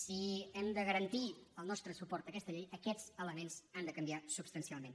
si hem de garantir el nostre suport a aquesta llei aquests elements han de canviar substancialment